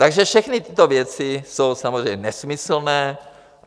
Takže všechny tyto věci jsou samozřejmě nesmyslné.